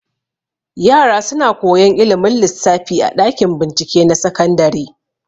Yara suna koyan ilimin lissafi a ɗakin bincike na sakandare.